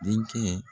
Denkɛ